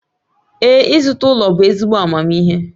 Ee, ịzụta ụlọ bụ ezigbo amamihe